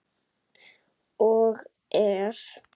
Og er.